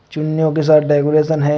चुन्नियों के साथ डेकोरेशन है।